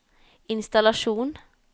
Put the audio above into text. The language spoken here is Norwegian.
innstallasjon